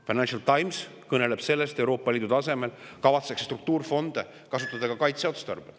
Financial Times kõneleb sellest, et Euroopa Liidu tasemel kavatsetakse struktuurifonde kasutada ka kaitseotstarbel.